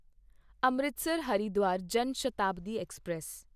Amritsar Haridwar Jan Shatabdi express